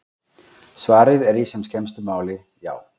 Svarið er í sem skemmstu máli: Já!